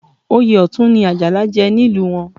Oyè Ọ̀tún ni Àjàlá jẹ nílùú wọn